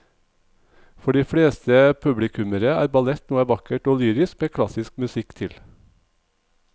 For de fleste publikummere er ballett noe vakkert og lyrisk med klassisk musikk til.